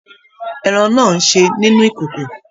Ẹran náà n ṣe nínú ìkòkò.